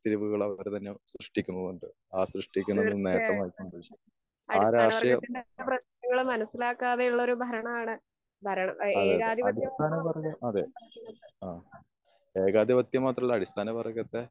വേർപിരിയലുകള് അവർ തന്നെ സൃഷ്ടിക്കുന്നുണ്ട്. ആ സൃഷ്ടിക്കുന്നതിൽ നേട്ടം അവർക്ക് സമ്പാദിക്കുന്നുണ്ട്. ആ രാഷ്ട്യം അതെ അതെ അതെ. അടിസ്ഥാന വർഗം. അതെ. ആഹ് ഏകാധിപത്യം മാത്രല്ല അടിസ്ഥാന വർഗത്തെ